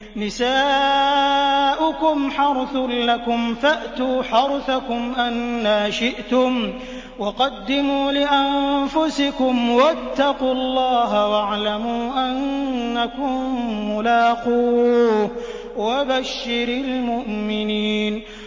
نِسَاؤُكُمْ حَرْثٌ لَّكُمْ فَأْتُوا حَرْثَكُمْ أَنَّىٰ شِئْتُمْ ۖ وَقَدِّمُوا لِأَنفُسِكُمْ ۚ وَاتَّقُوا اللَّهَ وَاعْلَمُوا أَنَّكُم مُّلَاقُوهُ ۗ وَبَشِّرِ الْمُؤْمِنِينَ